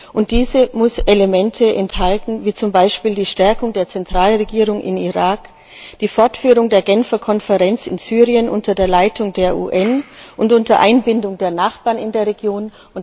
Und diese muss Elemente enthalten wie zum Beispiel die Stärkung der Zentralregierung im Irak und die Fortführung der Genfer Konferenz in Syrien unter der Leitung der UN und unter Einbindung der Nachbarn in der Region.